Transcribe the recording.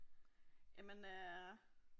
Jamen øh